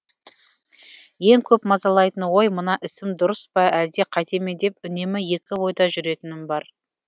ең көп мазалайтын ой мына ісім дұрыс па әлде қатеме деп үнемі екі ойда жүретінім бар